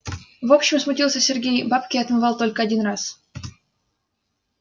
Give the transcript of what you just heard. в общем смутился сергей бабки я отмывал только один раз